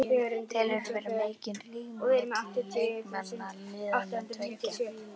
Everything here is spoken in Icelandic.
Telurðu vera mikinn ríg milli leikmanna liðanna tveggja?